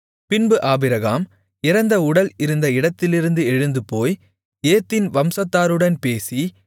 பின்பு ஆபிரகாம் இறந்த உடல் இருந்த இடத்திலிருந்து எழுந்துபோய் ஏத்தின் வம்சத்தாருடன் பேசி